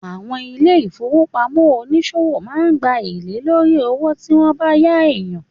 Àwọn ilé-ìfowópamọ́ oníṣòwò máa ń gba èlé lórí owó tí wọn bá yá ènìyàn